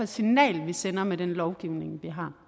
signal vi sender med den lovgivning vi har